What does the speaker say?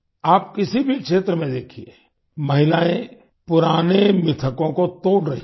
आप किसी भी क्षेत्र में देखिए महिलायें पुराने मिथकों को तोड़ रही हैं